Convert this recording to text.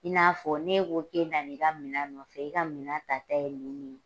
I n'afɔ, n'e k'o k'e bɛ na i ka minɛ nɔfɛ, i ka minɛ ta ta ye nin nin